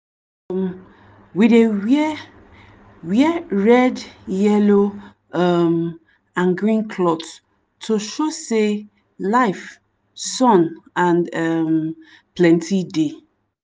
um we dey wear wear red yellow um and green cloth to show sey life sun and um plenty dey.